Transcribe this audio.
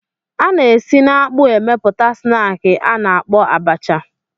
A na-esi n'akpụ emepụta snaakị a na-akpọ abacha.